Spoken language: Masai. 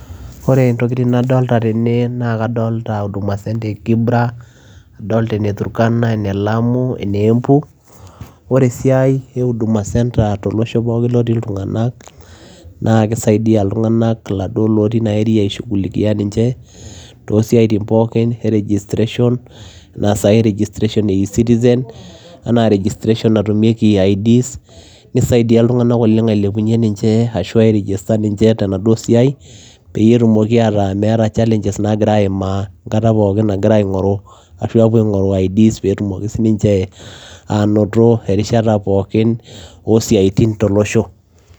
Ore intokitin nadolta tene naa kadolta huduma center e Kibra, adolta ene Turkana, ene Lamu, ene Embu. Ore esiai e huduma center tolosho pookin loii ilung'anak naake isaidia iltung'anak iladuo lotii ina area aishughulikia ninche too siaitin pookin e registration naa saai registration ee e-citizen, enaa registration natumieki IDs. Nisaidia iltung'anak oleng' ailepunye ninche ashu airegister ninche tenaduo siai peyie etumoki ataa meeta challenges naagira aaimaa enkata pookin nagira aing'oru ashu aapuo aing'oru IDs peetumoki sinche aanoto erishata pookin oo siaitin tolosho.